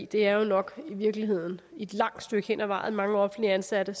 det er jo nok i virkeligheden et langt stykke hen ad vejen mange offentligt ansatte